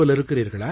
இருக்கிறீர்களா